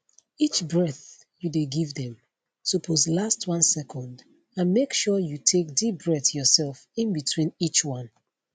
each breath you dey give dem suppose last 1 second and make sure you take deep breath yourself in between each one